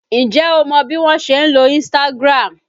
Ǹjẹ́ o mọ bí wọn ṣe ń lo Instagram?